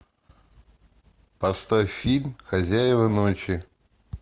поставь фильм хозяева ночи